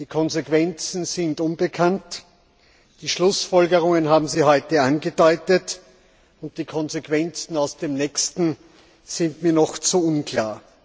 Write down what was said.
Die Konsequenzen sind unbekannt, die Schlussfolgerungen haben Sie heute angedeutet, und die Konsequenzen aus dem nächsten Test sind mir noch zu unklar.